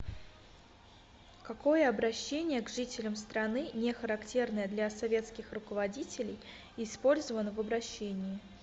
какое обращение к жителям страны не характерное для советских руководителей использовано в обращении